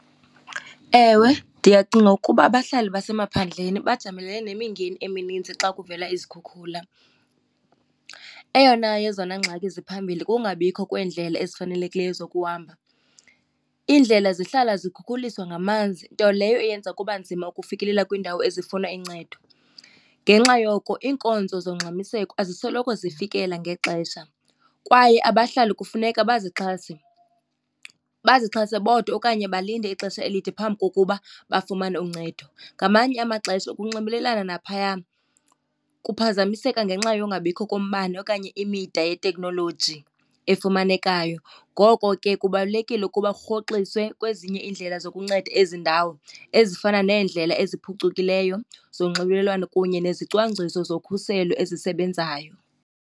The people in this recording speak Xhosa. Ewe, ndiyacinga ukuba abahlali basemaphandleni bajamelene nemingeni emininzi xa kuvela izikhukhula. Eyona yezona ngxaki ziphambili kungabikho kweendlela ezifanelekileyo zokuhamba. Iindlela zihlala zikhukhuliswa ngamanzi, nto leyo eyenza kuba nzima ukufikelela kwiindawo ezifuna incedo. Ngenxa yoko iinkonzo zongxamiseko azisoloko zifikela ngexesha, kwaye abahlali kufuneka bazixhase, bazixhase bodwa okanye balinde ixesha elide phambi kokuba bafumane uncedo. Ngamanye amaxesha ukunxibelelana naphayana kuphazamiseka ngenxa yongabikho kombane okanye imida yeteknoloji efumanekayo. Ngoko ke kubalulekile ukuba kurhoxiswe kwezinye iindlela zokunceda ezi ndawo, ezifana neendlela eziphucukileyo zonxibelelwano kunye nezicwangciso zokhuselo ezisebenzayo.